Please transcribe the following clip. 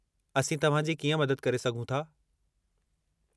असीं तव्हां जी कीअं मदद करे सघूं था?